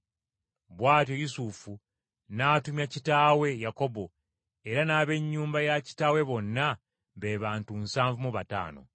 Bw’atyo Yusufu n’atumya kitaawe, Yakobo, era n’ab’ennyumba ya kitaawe bonna be bantu nsanvu mu bataano.